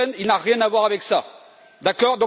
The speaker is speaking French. Le Pen, il n'a rien à voir avec ça, d'accord?